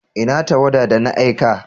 Ina tawada da na aika?